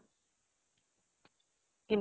কিন্তু